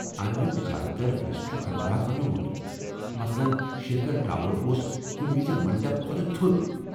امیک زیادٕ تر حصہٕ چھ کھنڈرات بنیومٗت ، مثلن ، شیکھرٹاور اوس کٗنہِ وِزِ منڈپ کھۄتہٕ تھود ۔